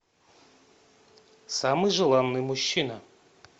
самый желанный мужчина